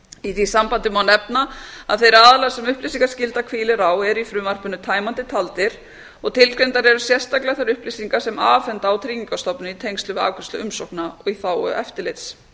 í því sambandi má nefna að þeir aðilar sem upplýsingaskylda hvílir á er í frumvarpinu tæmandi taldir og tilgreindar eru sérstaklega þær upplýsingar sem afhenda á tryggingastofnun í tengslum við afgreiðslu umsókna í þágu eftirlits